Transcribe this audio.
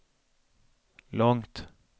långt